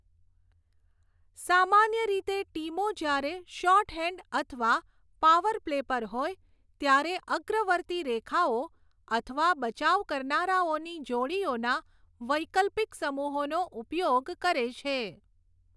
સામાન્ય રીતે ટીમો જ્યારે શોર્ટહેન્ડ અથવા પાવર પ્લે પર હોય ત્યારે અગ્રવર્તી રેખાઓ અથવા બચાવ કરનારાઓની જોડીઓના વૈકલ્પિક સમૂહોનો ઉપયોગ કરે છે.